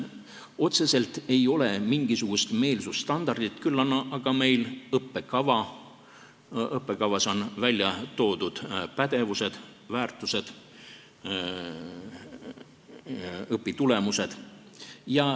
Otseselt ei ole mingisugust meelsusstandardit, küll aga on meil õppekava, seal on välja toodud pädevused, väärtused, õpitulemused.